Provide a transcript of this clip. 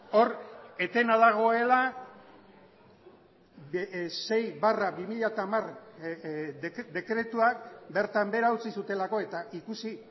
hor etena dagoela sei barra bi mila hamar dekretuak bertan behera utzi zutelako eta ikusi